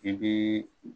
I bi